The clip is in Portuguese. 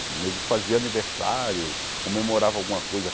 Nego fazia aniversário, comemorava alguma coisa.